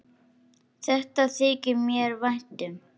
Þetta þykir mér vænt um.